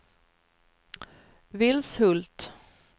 Vilshult